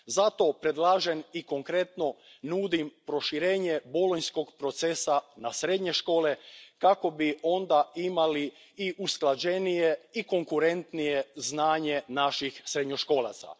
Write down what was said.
Zato predlažem i konkretno nudim proširenje bolonjskog procesa na srednje škole kako bi onda imali i usklađenije i konkurentnije znanje naših srednjoškolaca.